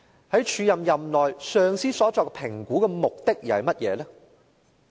在署任任內，上司所作評估的目的又是甚麼呢？